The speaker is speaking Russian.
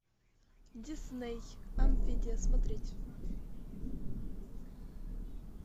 дисней амфибия смотреть